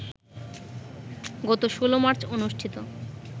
গত ১৬ মার্চ অনুষ্ঠিত